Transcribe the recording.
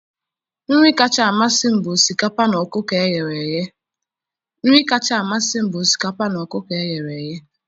nri kacha amasị m bụ osikapa na ọkụkọ e ghere eghe